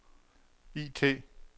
IT